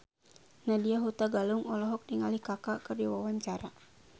Nadya Hutagalung olohok ningali Kaka keur diwawancara